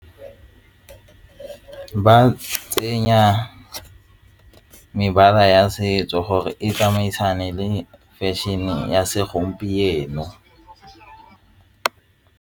Ba tsenya mebala ya setso gore e tsamaisane le fashion-e ya segompieno.